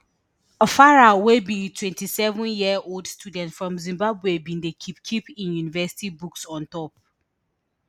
farai wey be twenty-seven year old student from zimbabwe bin dey keep keep im university books on top